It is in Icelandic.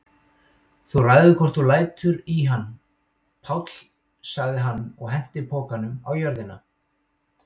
Þú ræður hvort þú lætur í hann, Páll sagði hann og henti pokanum á jörðina.